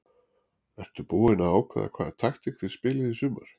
Ertu búin að ákveða hvaða taktík þið spilið í sumar?